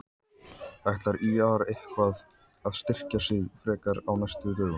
Ætlar ÍR eitthvað að styrkja sig frekar á næstu dögum?